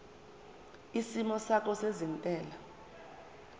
isimo sakho sezentela